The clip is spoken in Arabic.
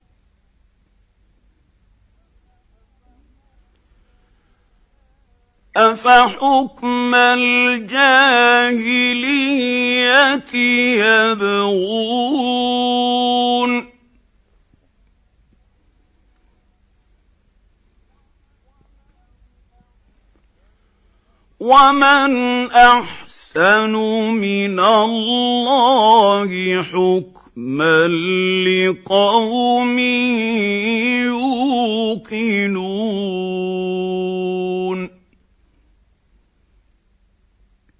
أَفَحُكْمَ الْجَاهِلِيَّةِ يَبْغُونَ ۚ وَمَنْ أَحْسَنُ مِنَ اللَّهِ حُكْمًا لِّقَوْمٍ يُوقِنُونَ